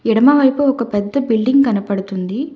ఎడమవైపు ఒక పెద్ద బిల్డింగ్ కనపడతుంది.